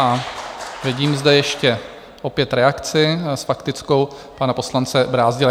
A vidím zde ještě opět reakci s faktickou pana poslance Brázdila.